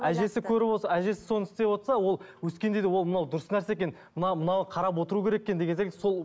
әжесі көріп отырса әжесі соны істеп отырса ол өскенде де ол мынау дұрыс нәрсе екен мынау мынаған қарап отыру керек екен деген секілді сол